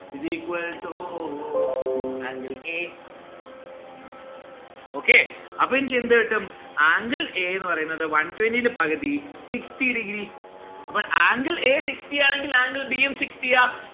is equal to angle a okay അപ്പൊ എനിക്ക് എന്ത് കിട്ടും? angle a എന്ന് പറയുന്നത് one twenty ന്റെ പകുതി sixty degree അപ്പോൾ angle a sixty ആണെങ്കിൽ angle b ഉം sixty ആ